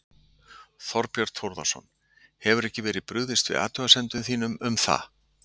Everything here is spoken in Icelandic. Þorbjörn Þórðarson: Hefur ekki verið brugðist við athugasemdum þínum um það?